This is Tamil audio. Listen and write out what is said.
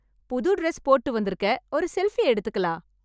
புது ட்ரெஸ் போட்டு வந்துருக்கே... ஒரு செல்ஃபி எடுத்துக்கலாம்.